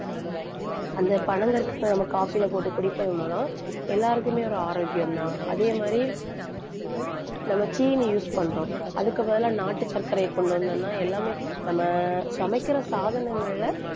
அந்த பனங்கற்கண்ட நம்ம coffee ல போட்டு குடிப்பதன் மூலம் எல்லாருக்குமே ஒரு ஆரோக்கியம்தான். அதே மாதிரி நம்ம சீனி use பண்றோம். அதுக்கு பதிலா நாட்டு சர்க்கரையை கொண்டு வந்தோம்னா எல்லாமே நம்ம சமைக்கிற சாதனங்கள்ல,